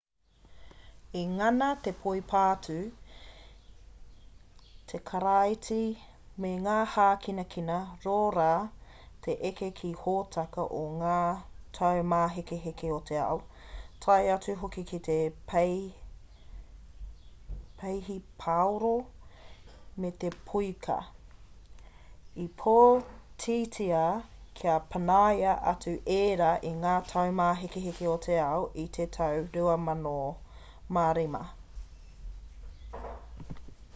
i ngana te poipātū te karāti me ngā hākinakina rōra te eke ki te hōtaka o ngā taumāhekeheke o te ao tae atu hoki ki te peihipaoro me te poiuka i pōtitia kia panaia atu ērā i ngā taumāhekeheke o te ao i te tau 2005